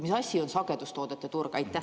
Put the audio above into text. Mis asi on sagedustoodete turg?